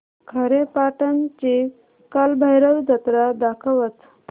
खारेपाटण ची कालभैरव जत्रा दाखवच